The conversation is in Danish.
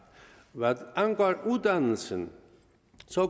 hvad angår uddannelse